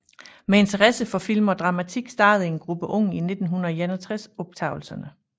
Med interesse for film og dramatik startede en gruppe unge i 1961 optagelserne